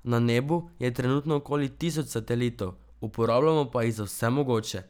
Na nebu je trenutno okoli tisoč satelitov, uporabljamo pa jih za vse mogoče.